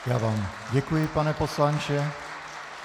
Já vám děkuji, pane poslanče.